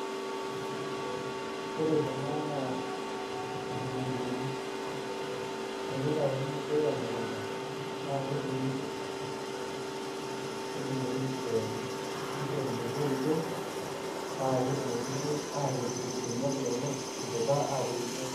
Ore kuna naa nkitunkuuni. Tenitauni ninche temukunta, na keturuni, nedung'ori dukuyani. Nishori metoito, paketumokini atipik irbeniak lenye, idipa atoito.